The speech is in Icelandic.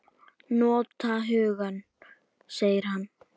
Nota hugann, segir hann.